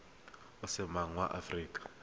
o se moagi wa aforika